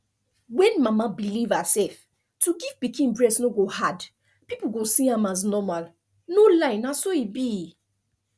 when mama believe herself to give pikin breast no go hard people go see am as normalno lie na so e be